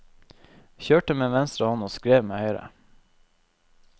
Kjørte med venstre hånd og skrev med høyre.